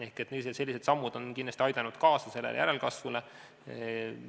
Ehk sellised sammud on kindlasti aidanud järelkasvule kaasa.